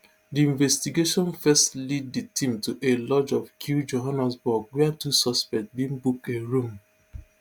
di investigation first lead di team to a lodge for kew johannesburg wia two suspects bin book a room